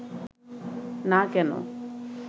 না কেন